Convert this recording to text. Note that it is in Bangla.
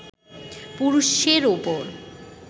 পুরুষের ওপর